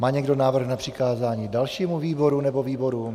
Má někdo návrh na přikázání dalšímu výboru nebo výborům?